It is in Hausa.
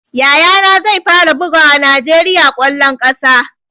Yaya na zai fara bugawa najeriya kwallon kasa